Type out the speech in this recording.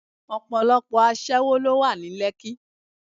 Ọ̀pọ̀lọpọ̀ aṣẹ́wó ló wà ní Lekki.